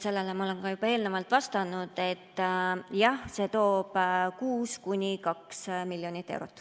Sellele ma olen juba eelnevalt vastanud, et jah, see on ühes kuus kuni 2 miljonit eurot.